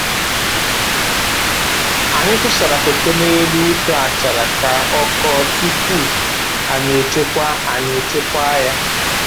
Anyị tụsara koko n'elu ute achara ka ọ kọọ tupuu anyi echekwaa anyi echekwaa ya